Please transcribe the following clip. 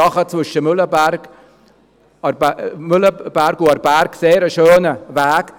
Auch zwischen Mühleberg und Aarberg ist es ein sehr schöner Weg.